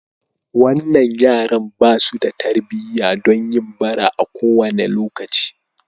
Wannan yaran ba su da tarbiyya don yin bara a kowane lokaci.